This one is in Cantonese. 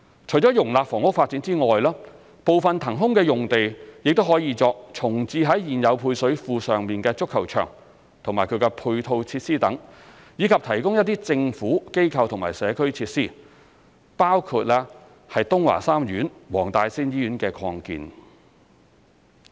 除了容納房屋發展外，部分騰空的用地亦可作重置在現有配水庫上的足球場及其配套設施等，以及提供一些"政府、機構或社區"設施，包括東華三院黃大仙醫院的擴建。